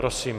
Prosím.